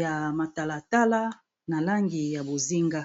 ya matala tala na langi ya bozinga.